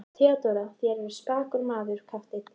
THEODÓRA: Þér eruð spakur maður, kafteinn.